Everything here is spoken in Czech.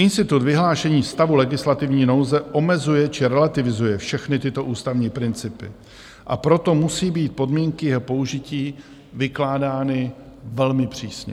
Institut vyhlášení stavu legislativní nouze omezuje či relativizuje všechny tyto ústavní principy, a proto musí být podmínky jeho použití vykládány velmi přísně.